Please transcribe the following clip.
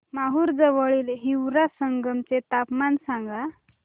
माहूर जवळील हिवरा संगम चे तापमान सांगा